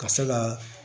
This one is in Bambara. Ka se ka